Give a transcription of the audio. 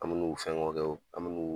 An bi n'u fɛngɛw kɛ wo. An bi n'u